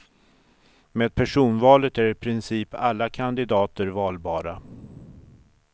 Med personvalet är i princip alla kandidater valbara.